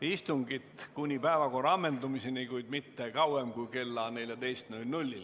istungit kuni päevakorra ammendumiseni, kuid mitte kauem kui kella 14-ni.